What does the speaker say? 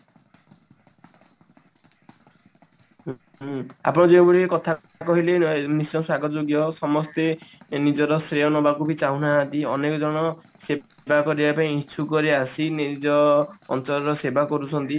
ଆପଣ ଯେଉଁ ଭଳି କଥା କହିଲେ ନିଶ୍ଚୟ ସ୍ଵାଗତ ଯୋଗ୍ୟ ସମସ୍ତେ ନିଜର ଶ୍ରେୟ ନବାକୁ ବି ଚାହୁଁ ନାହାନ୍ତି ଅନେକ ଜଣ ସେବା କରିବା ପାଇଁ ଇଛୁକ ରେ ଆସି ନିଜ ଅଞ୍ଚଳ ର ସେବା କରୁଛନ୍ତି